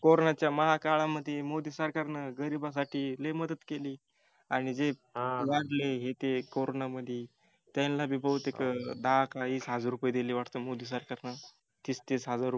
CORONA च्या महाकाळामधी मोदी सरकारन गरिबासाठी लय मदत केली आणि जे वारले CORONA मधी त्यांना बी बहुतेक दहा का वीस हजार रूपये दिले वाटत मोदी सरकारन तीस तीस हजार रुपये